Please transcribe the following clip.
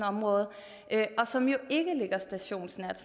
område og som jo ikke ligger stationsnært